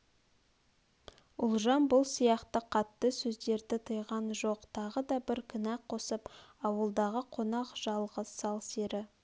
ұлжан бұл сияқты қатты сөздерді тыйған жоқ тағы да бір кінә қосып ауылдағы қонақ жалғыз сал-сері